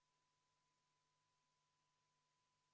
Ettepanekut toetas 20 Riigikogu liiget, vastu oli 53.